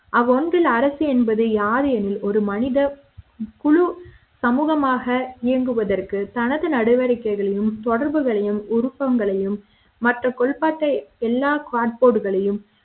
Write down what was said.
அவங்கள அரசு என்பது யாது எனில் ஒரு மனித குழு சமூக மாக இயங்குவதற்கு தனது நடவடிக்கைகளையும் தொடர்புகளையும் உறுக்கங்களையும் மத்த குழப்பத்தை எல்லா கோட்பாடுகளையும்